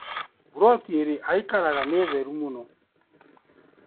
Mburoti ĩrĩ aikaraga nĩ theru mũno.